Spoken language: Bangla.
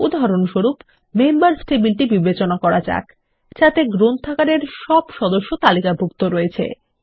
উদাহরণস্বরূপ মেম্বার্স টেবিলটি বিবেচনা করা যাক যাতে গ্রন্থাগারের সব সদস্য তালিকাভুক্ত রয়েছে